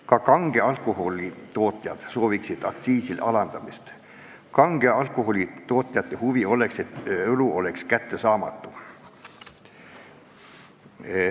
Ka kange alkoholi tootjad sooviksid aktsiiside alandamist, kange alkoholi tootjate huvi oleks, et õlu oleks kättesaamatu.